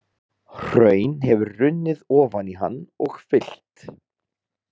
Hraun hefur runnið ofan í hann og fyllt.